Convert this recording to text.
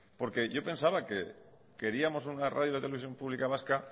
porque yo pensaba que queríamos una radio y una televisión pública vasca